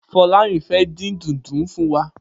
Folarin fè din dúùndù fún wà